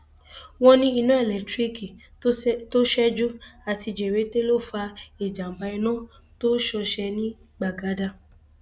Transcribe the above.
wọn ní iná elétíríìkì tó ṣẹjú àti jẹrẹtẹ ló fa ìjàmbá iná tó ṣọṣẹ ní gbagada